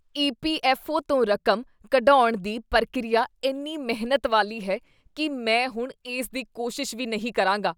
EPFO. ਤੋਂ ਰਕਮ ਕਢਵਾਉਣ ਦੀ ਪ੍ਰਕਿਰਿਆ ਇੰਨੀ ਮਿਹਨਤ ਵਾਲੀ ਹੈ ਕੀ ਮੈਂ ਹੁਣ ਇਸ ਦੀ ਕੋਸ਼ਿਸ਼ ਵੀ ਨਹੀਂ ਕਰਾਂਗਾ।